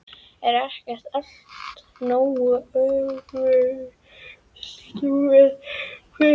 Er ekki allt nógu öfugsnúið fyrir?